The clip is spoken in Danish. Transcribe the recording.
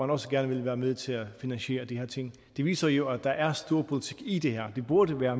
også gerne vil være med til at finansiere de her ting det viser jo at der er storpolitik i det her det burde være